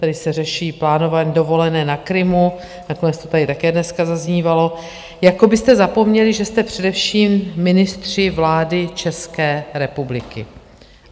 Tady se řeší plánování dovolené na Krymu, nakonec to tady také dneska zaznívalo, jako byste zapomněli, že jste především ministři vlády České republiky.